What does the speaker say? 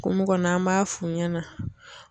Kungo kɔnɔ an b'a f'u ɲɛna .